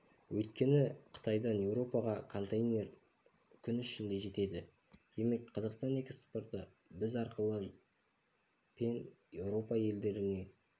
өйткені қытайдан еуропаға контейнер күн ішінде жетеді демек қазақстан экспорты біз арқылы пен еуропа елдеріне